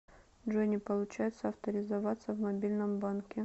джой не получается авторизироваться в мобильном банке